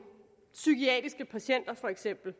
for eksempel